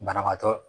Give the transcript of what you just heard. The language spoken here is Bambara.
Banabaatɔ